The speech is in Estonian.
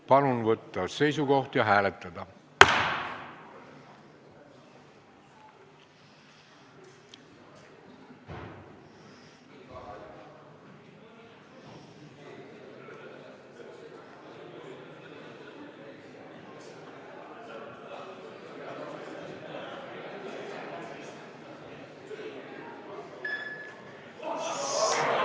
Palun võtta seisukoht ja hääletada!